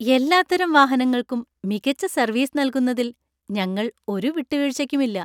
എല്ലാത്തരം വാഹനങ്ങൾക്കും മികച്ച സർവീസ് നൽകുന്നതിൽ ഞങ്ങൾ ഒരു വിട്ടുവീഴ്ചയ്ക്കുമില്ല.